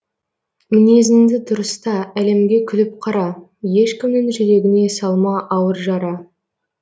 мінезіңді дұрыста әлемге күліп қара ешкімнің жүрегіне салма ауыр жара